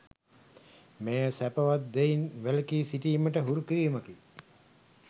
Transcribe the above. මෙය සැපවත් දෙයින් වැළකී සිටීමට හුරු කිරීමකි.